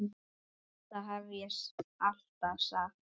Þetta hef ég alltaf sagt!